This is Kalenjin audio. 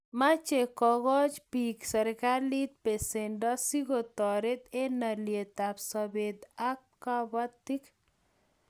Mache kokch piik serikalit pesendo sikotaret eng' alyet ab sopet ab kabatik